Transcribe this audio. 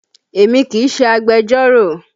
Èmi kì í ṣe agbẹjọ́rò